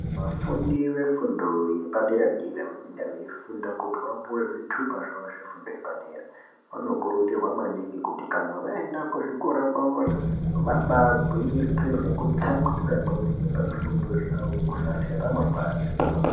Vafundi vefundo yepadera dera vanenge veifunda kuti vapuwe zvitupa zvavo zvefundo yepadera, vanokurudzirwa maningi kuti kana vaenda kuzvikora kwavoyo vabagwinyisire nekutsamwirira wemen pazvifundo zvavo kunasira ramangwani.